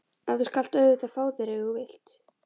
En þú skalt auðvitað fá þér ef þú vilt.